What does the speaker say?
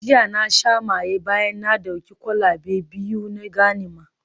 Jiya na sha maye bayan na dauki kwalabe biyu na ganima